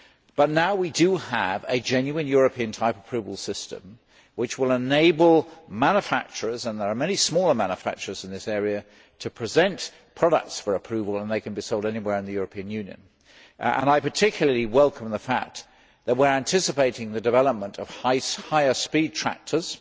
But we now have a genuine European type approval system which will enable manufacturers and there are many smaller manufacturers in this area to present products for approval, and they can be sold anywhere in the European Union. I particularly welcome the fact that we are anticipating the development of higher speed tractors